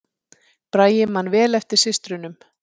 Bragi man vel eftir systrunum